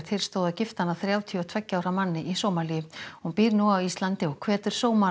stóð að gifta hana þrjátíu og tveggja ára manni í Sómalíu hún býr nú á Íslandi og hvetur